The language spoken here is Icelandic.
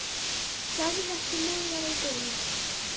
Sagði ekki meira í bili.